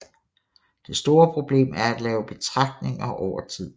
Det store problem er at lave betragtninger over tid